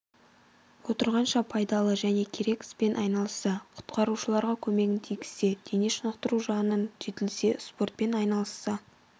отырғанша пайдалы және керек іспен айналысса құтқарушыларға көмегін тигізсе дене шынықтыру жағынан жетілсе спортпен айналысса